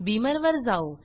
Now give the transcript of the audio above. Beamer वर जाऊ